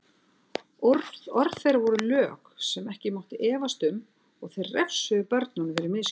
Orð þeirra voru lög sem ekki mátti efast um og þeir refsuðu börnunum fyrir misgjörðir.